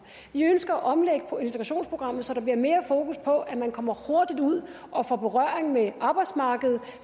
ønsker at omlægge integrationsprogrammet så der bliver mere fokus på at man kommer hurtigt ud og får berøring med arbejdsmarkedet